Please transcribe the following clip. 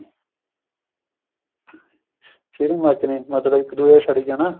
ਚਿੜ ਮੱਚਣੀ ਮਤਲਬ ਇੱਕ ਦੂਜੇ ਤੋਂ ਸੜੀ ਜਾਣਾ